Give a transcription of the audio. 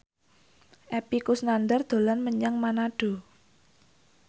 Epy Kusnandar dolan menyang Manado